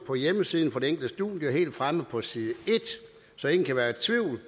på hjemmesiden for det enkelte studie helt fremme på side en så ingen kan være i tvivl